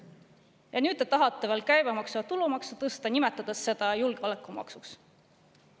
Ja nüüd te tahate veel käibemaksu ja tulumaksu tõsta, nimetades seda julgeolekumaksuks.